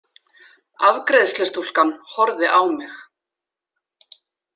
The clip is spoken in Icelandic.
Afgreiðslustúlkan horfði á mig.